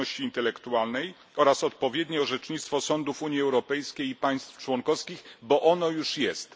Własności Intelektualnej oraz odpowiednie orzecznictwo sądów Unii Europejskiej i państw członkowskich, bo ono już jest.